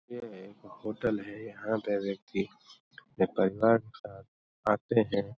ये एक होटल है। यहाँ पे व्यक्ति अपने परिवार के साथ आते हैं।